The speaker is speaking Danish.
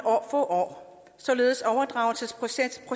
få år således at overdragelsesprocessen